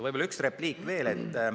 Võib-olla üks repliik veel.